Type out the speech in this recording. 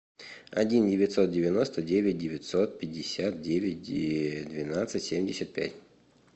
один девятьсот девяносто девять девятьсот пятьдесят девять двенадцать семьдесят пять